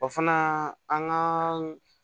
O fana an ka